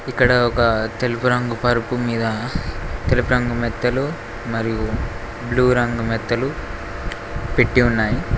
ఇక్కడ ఒక తెలుపు రంగు పరుపు మీద తెలుపు రంగు మెత్తలు మరియు బ్లూ రంగు మెత్తలు పెట్టీ ఉన్నాయి.